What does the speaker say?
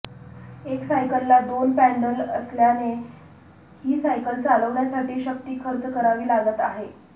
एक सायकलला दोन पॅण्डल असल्याने ही सायकल चालवण्यासाठी शक्ती खर्च करावी लागत आहे